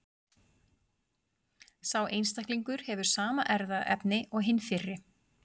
Sá einstaklingur hefur sama erfðaefni og hinn fyrri.